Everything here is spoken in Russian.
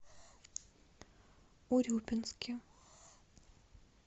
урюпинске